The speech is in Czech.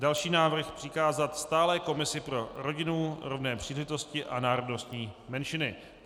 Další návrh: přikázat stálé komisi pro rodinu, rovné příležitosti a národnostní menšiny.